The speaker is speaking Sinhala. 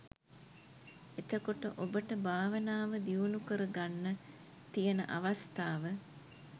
එතකොට ඔබට භාවනාව දියුණුකරගන්න තියෙන අවස්ථාව